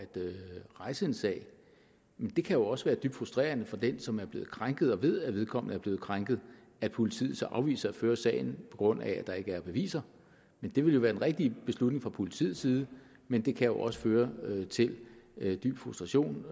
rejse en sag men det kan jo også være dybt frustrerende for den som er blevet krænket og ved at vedkommende er blevet krænket at politiet så afviser at føre sagen på grund af at der ikke er beviser det ville være den rigtige beslutning fra politiets side men det kan jo også føre til dyb frustration